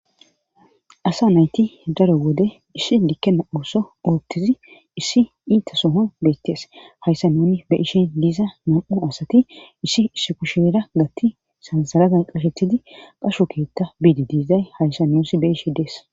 asa nayti daro wode issi dikkenna ooso oottizi issi iita soho beyttees hayssa nuuni be ishe diiza nam7u asati issi issi kushiera gatti sansarazan qashetidi qasho keetta biidi diizay hayssa nussi be ishe dees